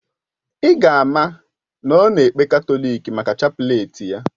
Ì ga ama na ọ na ekpe katọlik maka chapleti ya.